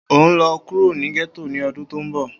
O nlọ kuro ni getto ni ọdun to nbo!